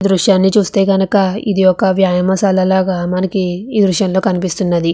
ఈ దృశ్యాన్ని చూస్తే కనుక ఇది ఒక వ్యాయామశాల లాగా మనకి ఈ దృశ్యంలో కనిపిస్తున్నది.